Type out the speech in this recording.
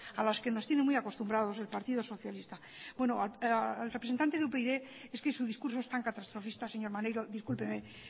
a las que nos tiene muy acostumbrado el partido socialista bueno al representante de upyd es que su discurso es tan catastrofista señor maneiro discúlpeme